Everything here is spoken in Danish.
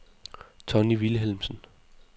Tonni Vilhelmsen